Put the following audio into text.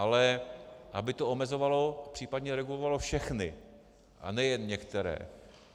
Ale aby to omezovalo, příp. regulovalo všechny a ne jen některé.